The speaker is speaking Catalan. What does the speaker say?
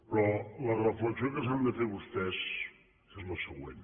però la reflexió que s’han de fer vostès és la següent